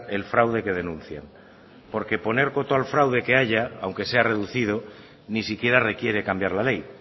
el fraude que denuncian porque poner coto al fraude que haya aunque sea reducido ni siquiera requiere cambiar la ley